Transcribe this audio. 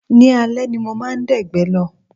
Ní alẹ́ ni mo máa dẹ̀gbẹ́ lọ